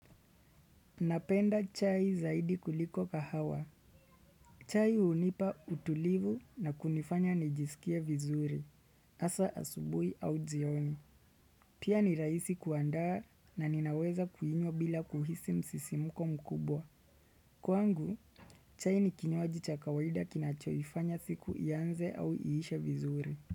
Napenda chai zaidi kuliko kahawa. Chai hunipa utulivu na kunifanya nijisikie vizuri. Hasaa asubuhi au jioni. Pia ni rahisi kuandaa na ninaweza kuinywa bila kuhisi msisimuko mkubwa. Kwangu, chai nikinywaji cha kawaida kinachoyifanya siku ianze au iishe vizuri.